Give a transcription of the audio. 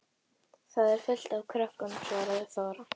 Þar er fullt af krökkum, svaraði Þóra.